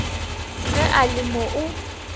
ge a le mo o